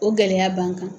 O gɛlɛya b'an kan